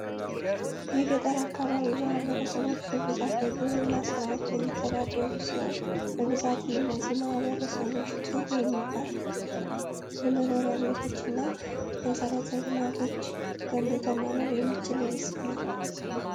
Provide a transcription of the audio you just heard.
የገጠር አካባቢ ማህበረሰቦች በብዛት በግብርና ስራዎች የሚተዳደሩ ሲሆን በብዛትም እነዚህ ማህበረሰቦች ጥሩ የሚባሉ የመኖሪያ ቤቶችን እና መሰረት ልማቶችን ገንብቶ መኖር የማይችል ህዝብ ነው።